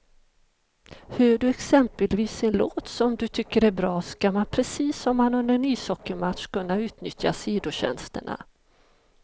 Hör du exempelvis en låt som du tycker är bra, ska man precis som under en ishockeymatch kunna utnyttja sidotjänsterna.